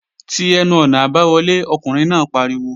Ti ẹnu-ọ̀nà àbáwọlé! Ọkùnrin náà pariwo